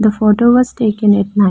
The photo was taken at night.